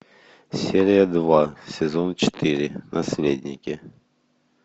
серия два сезон четыре наследники